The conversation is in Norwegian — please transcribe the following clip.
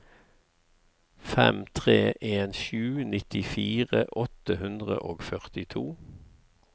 fem tre en sju nittifire åtte hundre og førtito